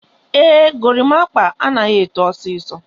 Ee, gorimapa anaghị eto osisi.